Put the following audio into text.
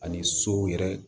Ani sow yɛrɛ